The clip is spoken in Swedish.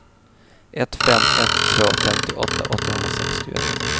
ett fem ett två femtioåtta åttahundrasextioett